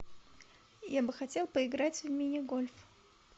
я бы хотел поиграть в мини гольф